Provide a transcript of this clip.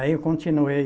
Aí eu continuei.